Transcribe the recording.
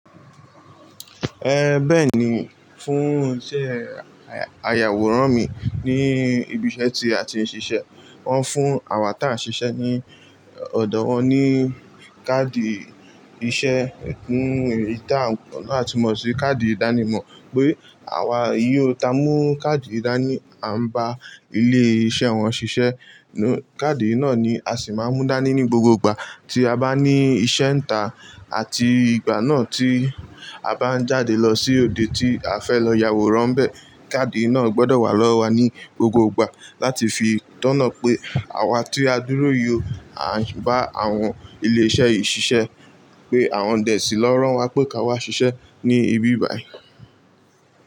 Ẹ, bẹ́ẹ̀ni, fún iṣẹ́ ayàwòrán mi ní ibi iṣẹ́ tí a ti ń ṣiṣẹ́, wọ́n fún àwa ta ṣiṣẹ́ ní ọ̀dọ̀ wọn ní káàdì iṣẹ́. Hmm, èyí ta ń, ta mọ̀ sí káàdì ìdánimọ̀, pé àwa yó. Ta mú káàdì ìdání, à ń bá ilé iṣẹ́ wọn ṣiṣẹ́. Káàdì náà ni a sì máa ń mú dání ní gbogbo ìgbà tí a bá ní iṣẹ́ ìta àti ìgbà náà tí a bá ń jáde lọ sí òde tí a fẹ́ lọ yaworan bẹ́ẹ̀. Káàdì náà gbọdọ̀ wà lọ́wọ́ wa ní gbogbo ìgbà láti fi tọ́ná pé àwa tí a dúró yió, à ń bá àwọn ilé iṣẹ́ yìí ṣiṣẹ́, pé àwọn dè sí i lọ rán wa pé ká wá ṣiṣẹ́ ní ibi báyìí.